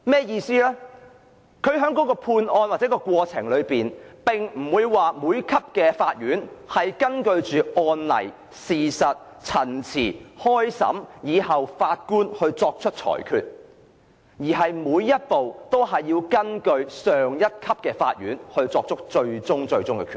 意思是，在判案時，各級法院的法官並非根據案例、事實、陳辭及審訊而最終作出裁決，而是每個步驟皆須根據上一級法院作出的最終決定。